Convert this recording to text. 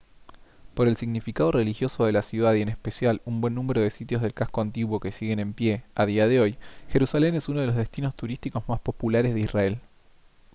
por el significado religioso de la ciudad y en especial un buen número de sitios del casco antiguo que siguen en pie a día de hoy jerusalén es uno de los destinos turísticos más populares de israel